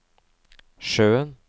sjøen